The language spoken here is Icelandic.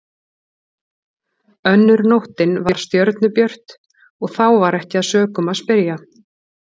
Önnur nóttin var stjörnubjört og þá var ekki að sökum að spyrja.